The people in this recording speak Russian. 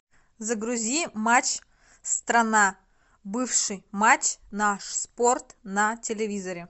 загрузи матч страна бывший матч наш спорт на телевизоре